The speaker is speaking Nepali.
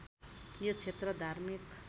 यो क्षेत्र धार्मिक